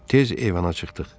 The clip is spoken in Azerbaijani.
Tez eyvana çıxdıq.